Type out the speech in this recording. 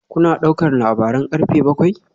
Kuna ɗaukar labaran karfe bakwai?